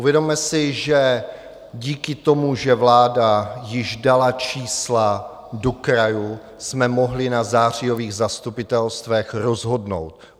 Uvědomme si, že díky tomu, že vláda již dala čísla do krajů, jsme mohli na zářijových zastupitelstvech rozhodnout.